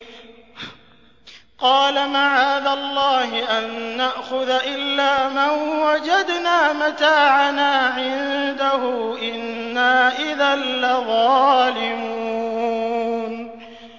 قَالَ مَعَاذَ اللَّهِ أَن نَّأْخُذَ إِلَّا مَن وَجَدْنَا مَتَاعَنَا عِندَهُ إِنَّا إِذًا لَّظَالِمُونَ